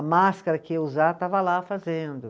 A máscara que eu ia usar, estava lá fazendo.